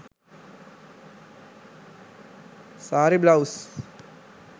saree blouse